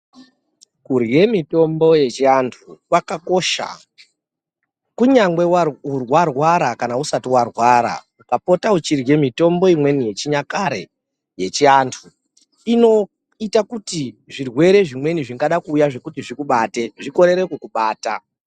kurye mitombo yechivantu kwakakosha kunyangwe warwara kana usati warwara ukapota wechirye mitombo imweni yechinyakare yechiantu inoita kuti zvirwere zvimweni zvingada kuuya kuti zvikubate zvikorere kukubata.